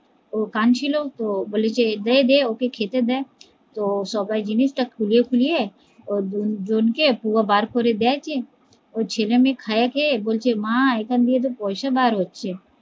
ও কানছিলো তো, বলেকি দে দে ওকে খেতে দে তো সবাই জিনিস টা খুলিয়ে খুলিয়ে ওর দুজন কে পুয়া বার করে দেয় কি ওর ছেলে মেয়ে খেয়ে খেয়ে বলছে মা এখানে থেকে পয়সা বার হচ্ছে